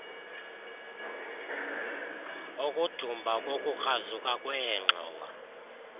ukudumba nokukrazuka kweengxowa